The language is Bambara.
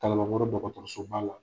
Kalabankɔrɔ dɔgɔtɔrɔsoba la.